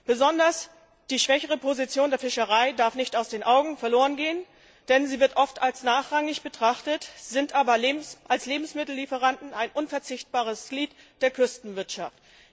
Besonders die schwächere Position der Fischerei darf nicht aus den Augen verlorengehen, denn sie wird oft als nachrangig betrachtet, ist aber als Lebensmittellieferantin ein unverzichtbares Glied der Küstenwirtschaft.